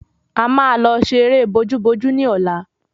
A maa lọ ṣe eré bojú bojú ni ọlá